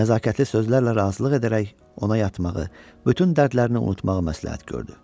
Nəzakətli sözlərlə razılıq edərək ona yatmağı, bütün dərdlərini unutmağı məsləhət gördü.